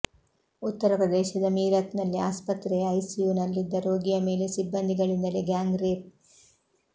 ಉತ್ತರ ಪ್ರದೇಶದ ಮೀರತ್ ನಲ್ಲಿ ಆಸ್ಪತ್ರೆಯ ಐಸಿಯುನಲ್ಲಿದ್ದ ರೋಗಿಯ ಮೇಲೆ ಸಿಬ್ಬಂದಿಗಳಿಂದಲೇ ಗ್ಯಾಂಗ್ ರೇಪ್